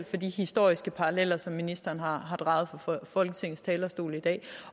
til de historiske paralleller som ministeren har draget fra folketingets talerstol i dag